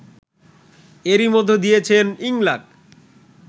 এরই মধ্যে দিয়েছেন ইংলাক